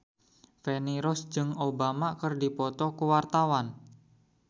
Feni Rose jeung Obama keur dipoto ku wartawan